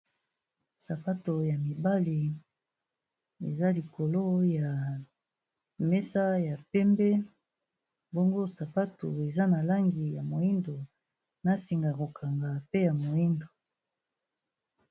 Sapato ya mibale eza likolo ya mesa ya pembe. Bongo sapato eza na langi ya moyindo na singa ya ko kanga pe ya moyindo.